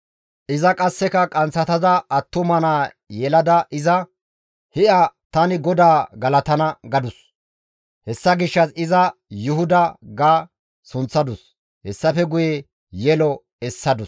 Iza qasseka qanththatada attuma naa yelada iza, «Hi7a tani GODAA galatana» gadus; hessa gishshas iza Yuhuda ga sunththadus; hessafe guye yelo essadus.